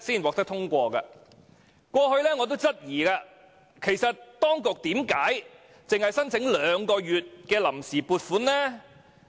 我過去曾質疑當局為何只申請兩個月的臨時撥款。